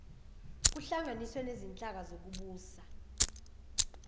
kuhlanganiswe nezinhlaka zokubusa